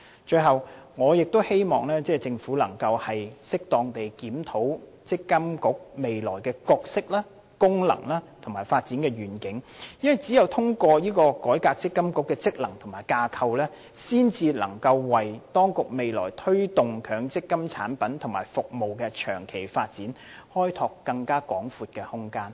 最後，我亦希望政府能夠適當地檢討積金局未來的角色、功能和發展願景，因為只有透過改革積金局的職能和架構，才能為當局未來推動強積金產品及服務的長期發展開拓更廣闊的空間。